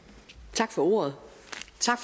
tak for ordet